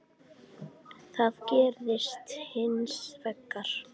Það gerðist hins vegar.